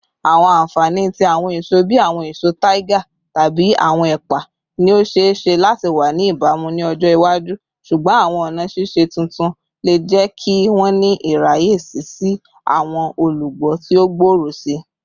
Awọn anfani ti awọn eso bii awọn eso tiger tabi awọn ẹpa ni o ṣee ṣe lati wa ni ibamu ni ọjọ iwaju, ṣugbọn awọn ọna ṣiṣe tuntun le jẹ ki wọn ni iraye si si awọn olugbo ti o gbooro sii.